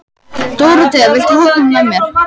Dóróthea, viltu hoppa með mér?